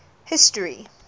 history